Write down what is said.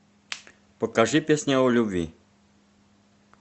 покажи песня о любви